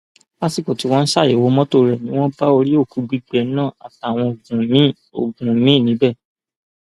lásìkò tí wọn ń ṣàyẹwò mọtò rẹ ni wọn bá orí òkú gbígbẹ náà àtàwọn oògùn míín oògùn míín níbẹ